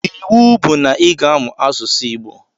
Iwu bu na iga amụ asụsụ igbo!!